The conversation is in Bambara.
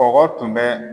Bɔgɔ tun bɛ